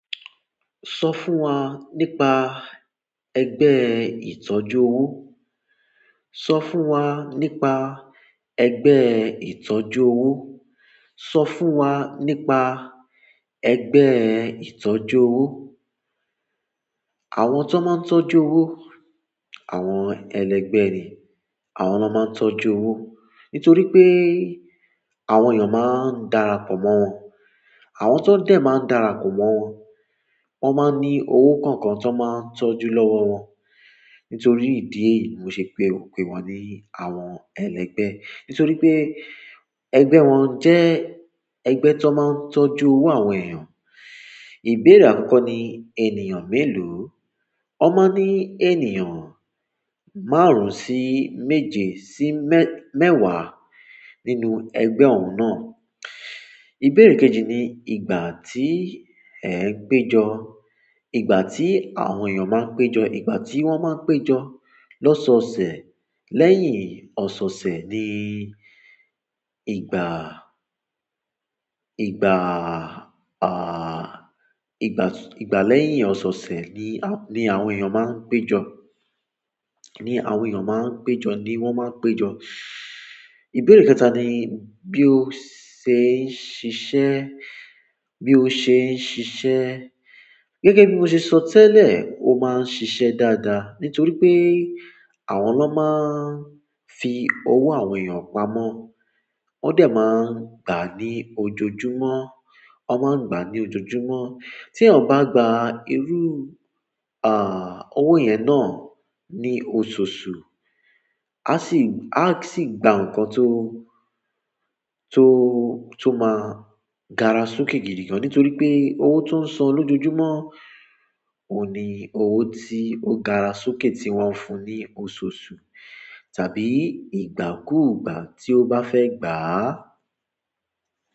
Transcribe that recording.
Sọ fún wa nípa ẹgbẹ́ ìtọ́jú owó. Sọ fún wa nípa ẹgbẹ́ ìtọ́jú owó. Sọ fún wa nípa ẹgbẹ́ ìtọ́jú owó. Àwọn tó máa ń tọ́jú owó, àwọn ẹlẹgbẹ́ ni. Àwọn lo maa n tọ́jú owo nítorí pé àwọn èèyàn máa ń dára pọ̀ mọ́ wọn. Àwọn tó dẹ̀ máa ń dára pọ̀ mọ́ wọn. Won maa n ni owo kankan to maa n tọ́jú lowo won. Nítorí ìdí èyí, mo ṣe pero pe wọ́n ní àwọn ẹlẹgbẹ́. Nítorí pé ẹgbẹ́ wọn jẹ́ ẹgbẹ́ tó máa ń tọ́jú owó àwọn èèyàn. Ìbéèrè àkọ́kọ́ ni ènìyàn mélòó. Wọ́n máa ń ní ènìyàn márùn sí méje sí mẹ́wàá nínú ẹgbẹ́ òun náà. Ìbéèrè kejì ni ìgbà tí ẹ ń péjọ. Ìgbà tí àwọn èèyàn máa ń péjọ. Ìgbà ti won maa n pejo losose, lẹ́yìn osose ni ìgbà, ìgbà lẹ́yìn osose ni àwọn ènìyàn maa n pejo ni àwọn èèyàn máa ń péjọ ni wọ́n máa ń péjọ. Ìbéèrè kẹta ni bí o ṣe ń ṣiṣẹ́. Bí o ṣe ń ṣiṣẹ́. Gẹ́gẹ́ bí mo ṣe sọ tẹ́lẹ̀, ó máa ń ṣiṣẹ́ dáadáa. Nítorí pé àwọn ló máa ń fi owó àwọn èèyàn pamọ́. Wọ́n dẹ̀ máa ń gbá ní ojoojúmọ́. Wọ́n máa ń gbà á ní ojoojúmọ́. Tí eyan bá gba irú, owó yẹn náà ní ososù, a sì, a sì gba nǹkan tó máa gara sokẹ́ gidi gan. Nítorí pé owó tó ń san lójojúmọ́ òhun ní owó tí ó gara sokẹ́ tí wọ́n fún ní ososù tàbí ìgbàkúùgbà tí ó bá fẹ́ gbà á.